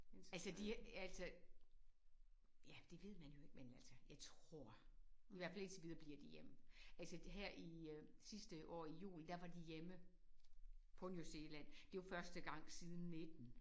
Altså de altså ja det ved man jo ikke men altså jeg tror i hvert fald indtil videre bliver de hjemme. Altså her i øh sidste år i juni der var de hjemme på New Zealand det var første gang siden 19